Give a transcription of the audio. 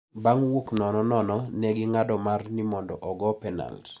Bang' wuok nono nono ne ging`ado mar ni mondo ogo penalt.